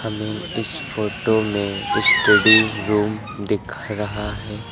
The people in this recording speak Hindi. हमें इस फोटो में स्टडी रूम दिख रहा है।